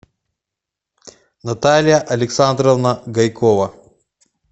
наталья александровна гайкова